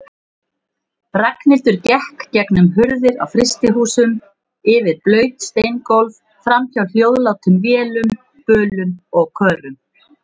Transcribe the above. Ragnhildur gekk gegnum hurðir á frystihúsum, yfir blaut steingólf, framhjá hljóðlátum vélum, bölum og körum.